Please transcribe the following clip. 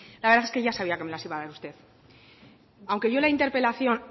la verdad es que ya sabía que me las iba a dar usted aunque yo la interpelación